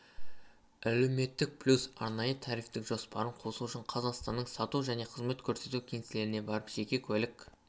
әлеуметтік плюс арнайы тарифтік жоспарын қосу үшін қазақстанның сату және қызмет көрсету кеңселеріне барып жеке куәлік